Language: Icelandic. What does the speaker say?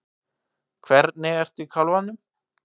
Hvernig ertu í kálfanum?